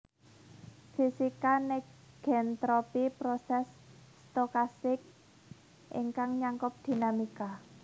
Fisika negentropy proses stokastik ingkang nyangkup dinamika